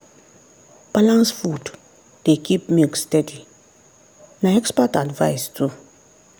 balanced food dey keep milk steady na expert advice too.